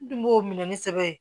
N dun b'o minɛ ni sɛbɛn ye